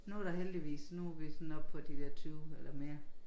Nu der heldigvis nu vi sådan op på de der 20 eller mere